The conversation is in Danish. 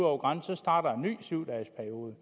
over grænsen starter en ny syv dages periode